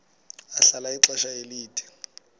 ahlala ixesha elide